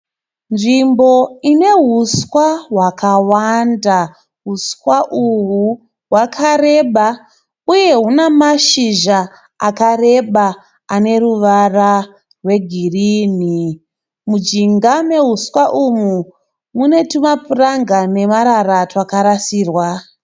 Nzvimbo ine huswa hwakawanda. Huswa uhwu hwakareba uye huna mashizha akareba ane ruvara rwegirini. Mujinga mehuswa umu mune tumapuranga nemarara twakarasirwa.